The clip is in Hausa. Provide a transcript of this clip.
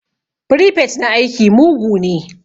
Firifet na aiki mugu ne